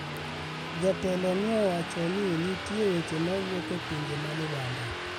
Jatelo ni osewacho ni nitie weche ma wuok e pinje ma libamba.